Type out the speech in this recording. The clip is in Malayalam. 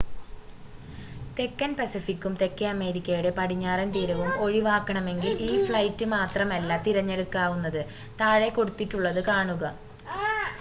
തെക്കൻ പസഫിക്കും തെക്കേ അമേരിക്കയുടെ പടിഞ്ഞാറൻ തീരവും ഒഴിവാക്കണമെങ്കിൽ ഈ ഫ്ലൈറ്റ് മാത്രമല്ല തിരഞ്ഞെടുക്കാവുന്നത്. താഴെ കൊടുത്തിട്ടുള്ളത് കാണുക